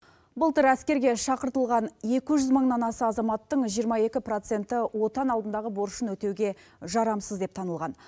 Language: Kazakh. былтыр әскерге шақыртылған екі жүз мыңнан аса азаматтың жиырма екі проценті отан алдындағы борышын өтеуге жарамсыз деп танылған